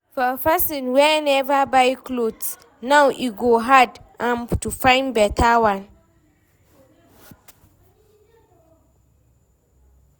For Pesin wey never buy cloth now e go hard am to fyn beta one